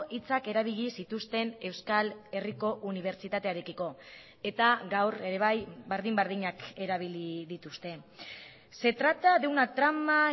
hitzak erabili zituzten euskal herriko unibertsitatearekiko eta gaur ere bai berdin berdinak erabili dituzte se trata de una trama